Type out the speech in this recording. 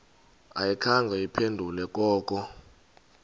ayikhange iphendule koko